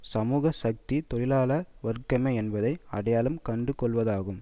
சமூக சக்தி தொழிலாள வர்க்கமே என்பதை அடையாளம் கண்டுகொள்வதாகும்